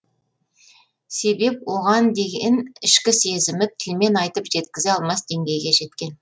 себеп оған деген ішкі сезімі тілмен айтып жеткізе алмас деңгейге жеткен